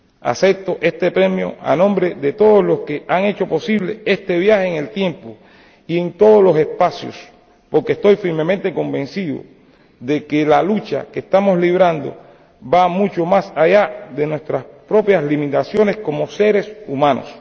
Acepto este premio en nombre de todos los que han hecho posible este viaje en el tiempo y en todos los espacios, porque estoy firmemente convencido de que la lucha que estamos librando va mucho más allá de nuestras propias limitaciones como seres humanos.